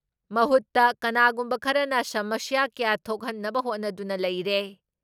ꯃꯍꯨꯠꯇ ꯀꯅꯥꯒꯨꯝꯕ ꯈꯔꯅ ꯁꯃꯁ꯭ꯌꯥ ꯀꯌꯥ ꯊꯣꯛꯍꯟꯅꯕ ꯍꯣꯠꯅꯗꯨꯅ ꯂꯩꯔꯦ ꯫